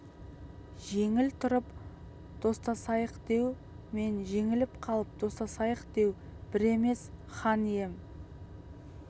жеңіп тұрып достасайықдеу мен жеңіліп қалып достасайықдеу бір емес хан ием